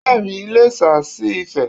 Láàárín Iléṣà sí ifè